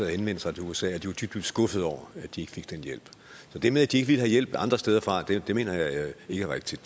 henvendt sig til usa og dybt skuffede over at de ikke fik den hjælp så det med at de ikke ville have hjælp andre steder fra mener jeg ikke er rigtigt